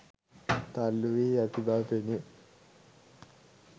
තල්ලූවී ඇති බව පෙනේ